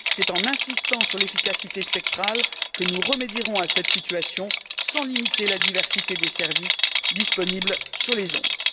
C'est en insistant sur l'efficacité spectrale que nous remédierons à cette situation sans limiter la diversité des services disponibles sur les ondes.